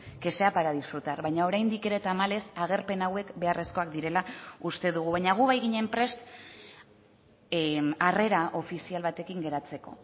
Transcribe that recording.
que sea para disfrutar baina oraindik ere tamalez agerpen hauek beharrezkoak direla uste dugu baina gu bai ginen prest harrera ofizial batekin geratzeko